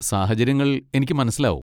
സാഹചര്യങ്ങൾ എനിക്ക് മനസ്സിലാവും.